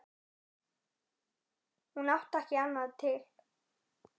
Hún átti ekki annað til.